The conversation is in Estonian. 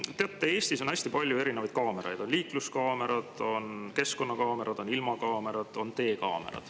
Teate, Eestis on hästi palju erinevaid kaameraid, on liikluskaamerad, on keskkonnakaamerad, on ilmakaamerad, on teekaamerad.